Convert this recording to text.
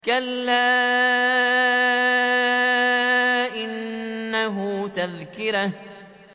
كَلَّا إِنَّهُ تَذْكِرَةٌ